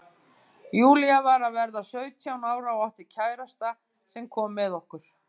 Júlía var að verða sautján ára og átti kærasta sem kom með okkur.